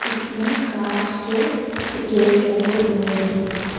इसमें कांच के द गेट लगे हुए हैं।